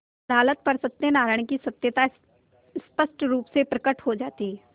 अदालत पर सत्यनारायण की सत्यता स्पष्ट रुप से प्रकट हो जाती